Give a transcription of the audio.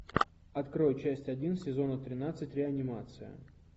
открой часть один сезона тринадцать реанимация